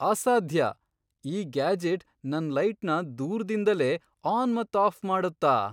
ಅಸಾದ್ಯ! ಈ ಗ್ಯಾಜೆಟ್ ನನ್ ಲೈಟ್ನ ದೂರ್ದಿಂದಲೇ ಆನ್ ಮತ್ ಆಫ್ ಮಾಡುತ್ತ?